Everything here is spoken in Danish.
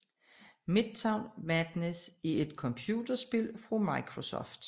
Midtown Madness er et computerspil fra Microsoft